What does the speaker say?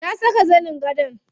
Na saka zanin gadon.